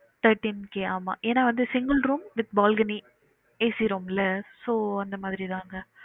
Thirteen K ஆமா என்ன வந்து single room with balcony AC room ல so அந்த மாறி தாங்க